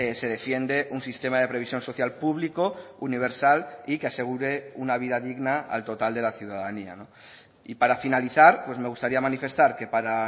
se defiende un sistema de previsión social público universal y que asegure una vida digna al total de la ciudadanía y para finalizar pues me gustaría manifestar que para